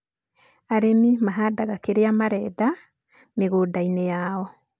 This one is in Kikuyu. arĩmi mahandaga kĩrĩa marenda mĩgũnda-inĩ yao.